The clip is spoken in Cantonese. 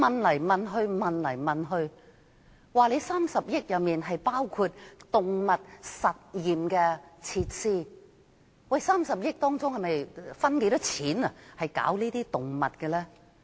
我多次追問當局 ，30 億元包括動物實驗的設施，當中有多少錢是用在動物身上？